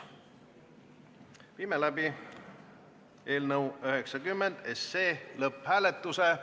Viime läbi eelnõu 90 lõpphääletuse.